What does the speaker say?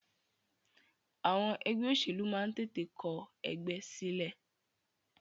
Àwọn ẹgbẹ́ òṣèlú máa ń tètè kọ ẹgbẹ́ sílẹ̀.